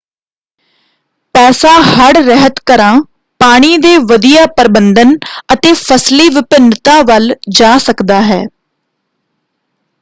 ਪੈਸਾ ਹੜ੍ਹ-ਰਹਿਤ ਘਰਾਂ ਪਾਣੀ ਦੇ ਵਧੀਆ ਪ੍ਰਬੰਧਨ ਅਤੇ ਫਸਲੀ ਵਿਭਿੰਨਤਾ ਵੱਲ ਜਾ ਸਕਦਾ ਹੈ।